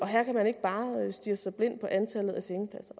her kan man ikke bare stirre sig blind på antallet af sengepladser